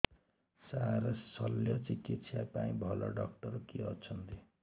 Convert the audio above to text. ସାର ଶଲ୍ୟଚିକିତ୍ସା ପାଇଁ ଭଲ ଡକ୍ଟର କିଏ ଅଛନ୍ତି